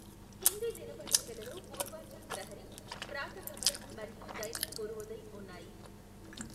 హిందీ దినపత్రికలలో పూర్వాంచల్ ప్రహరీ, ప్రాత ఖబర్ మరియు దైనిక్ పూర్వోదయ్ ఉన్నాయి.